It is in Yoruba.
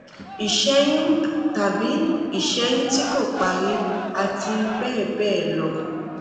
ìṣẹyún tàbí ìṣẹyún tí kò parí àti bẹẹ bẹẹ lọ